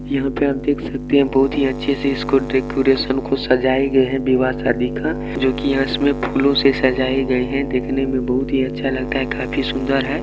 यहाँ पे आप देख सकते है बहुत ही अच्छे से इसको डेकोरेशन को सजाई गए है विवाह-शादी का जो की यह इसमें फूलों से सजाई गए है देखने में बहुत ही अच्छा लगता है काफी सूंदर है।